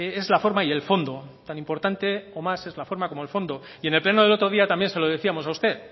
es la forma y el fondo tan importante o más es la forma como el fondo y en el pleno del otro día también se lo decíamos a usted